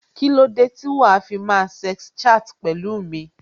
Kílódé tí wàá fi máa sex chat pẹ̀lú mi?